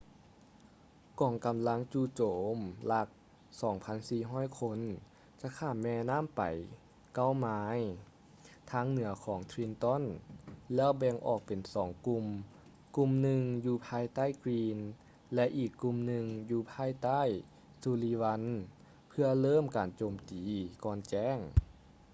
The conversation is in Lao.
ກອງກໍາລັງຈູ່ໂຈມຫຼັກ 2,400 ຄົນ ຈະຂ້າມແມນໍ້າໄປເກົ້າໄມລ໌ທາງເໜືອຂອງ trenton ແລ້ວແບ່ງອອກເປັນສອງກຸ່ມ ກຸ່ມໜຶ່ງຢູ່ພາຍໃຕ້ greene ແລະ ອີກກຸ່ມໜຶ່ງຢູ່ພາຍໃຕ້ sullivan ເພຶ່ອເລີ່ມການໂຈມຕີກ່ອນແຈ້ງ